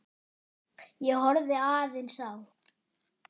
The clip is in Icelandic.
Ég horfði aðeins á